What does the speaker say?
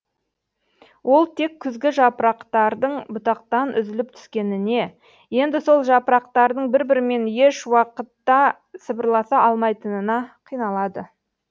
ол тек күзгі жапырақтардың бұтақтан үзіліп түскеніне енді сол жапырақтардың бір бірімен еш уақытта сыбырласа алмайтынына қиналады